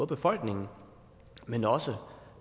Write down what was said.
befolkningen men også